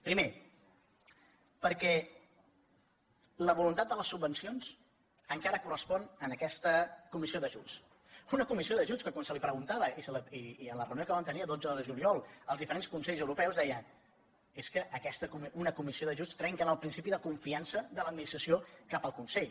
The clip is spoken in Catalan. primer perquè la voluntat de les subvencions encara correspon a aquesta comissió d’ajuts una comissió d’ajuts que quan es preguntava en la reunió que vam tenir el dotze de juliol als diferents consells europeus deien és que una comissió d’ajuts trenca amb el principi de confiança de l’administració cap al consell